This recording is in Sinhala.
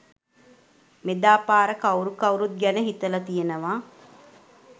මෙදාපාර කවුරු කවුරුත් ගැන හිතල තියනව!